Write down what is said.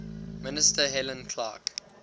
minister helen clark